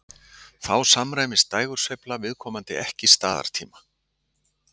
Þá samræmist dægursveifla viðkomandi ekki staðartíma.